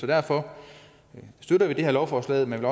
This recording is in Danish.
derfor støtter vi det her lovforslag men